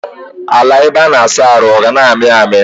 Ala ebe a na-asa ahụ ọ ga na-ami ami?